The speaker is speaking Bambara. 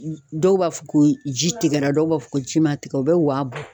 Dɔw b'a fɔ ko ji tigɛra dɔw b'a fɔ ko ji ma tigɛ u bɛ wa